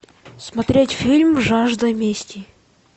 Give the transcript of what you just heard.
смотреть фильм жажда мести